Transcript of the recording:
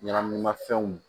Ɲɛnaminimafɛnw